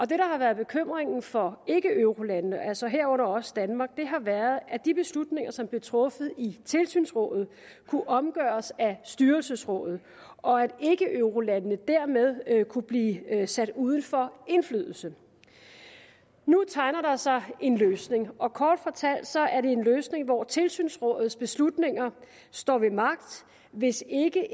der har været bekymringen for ikkeeurolandene altså herunder også danmark har været at de beslutninger som blev truffet i tilsynsrådet kunne omgøres af styrelsesrådet og at ikkeeurolandene dermed kunne blive sat uden for indflydelse nu tegner der sig en løsning og kort fortalt er det en løsning hvor tilsynsrådets beslutninger står ved magt hvis ikke